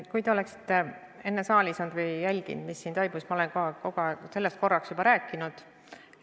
Kui te oleksite enne saalis olnud või jälginud, mis siin toimus, siis teaksite, et ma olen sellest juba rääkinud.